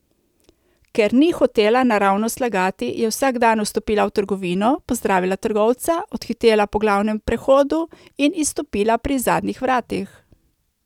Ker ni hotela naravnost lagati, je vsak dan vstopila v trgovino, pozdravila trgovca, odhitela po glavnem prehodu in izstopila pri zadnjih vratih.